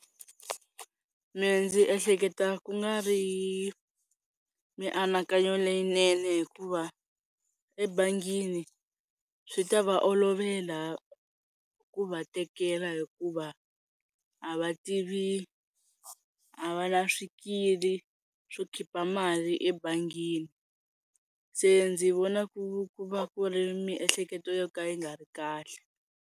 Mehe ndzi ehleketa ku nga ri mianakanyo leyinene hikuva ebangini swi ta va olovela ku va tekela hikuva a va tivi a va na swikili swo khipha mali ebangini se ndzi vona ku va ku ri miehleketo yo ka yi nga ri kahle.